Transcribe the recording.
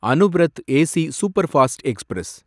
Anuvrat AC superfast express